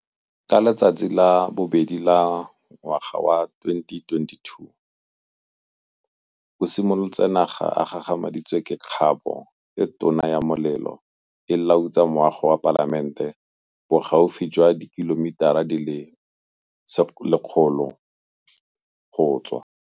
Ka letsatsi la bobedi ngwaga wa 2022 o simolotse naga e gagamaditswe ke kgabo e tona ya molelo e lautsa moago wa Palamente, bogaufi jwa dikilomitara di le 100 go tswa.